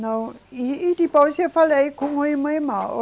Não, e, e depois eu falei, com uma irmã. Irmã